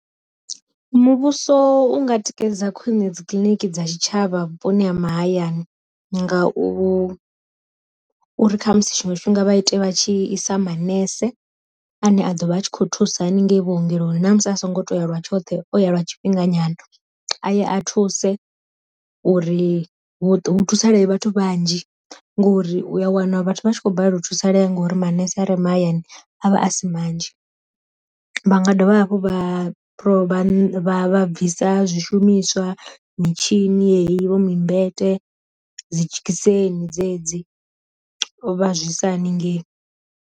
Muvhuso unga tikedza khwine dzikiḽiniki dza tshitshavha vhuponi ha mahayani nga u uri kha musi tshiṅwe tshifhinga vha ite vha tshi isa manese ane a dovha a tshi khou thusa haningei vhuongeloni na musi a songo toya lwa tshoṱhe o ya lwa tshifhinga nyana, aye a thuse uri hu thusaleye vhathu vhanzhi ngori uya wana vhathu vhatshi kho balelwa u thusalea ngori manese are mahayani a vha a si manzhi, vha nga dovha hafhu vha rovha bvisa zwi shumiswa mitshini yeyi vho mimbete, dzi dzhekiseni dzedzi vha zwisa haningei.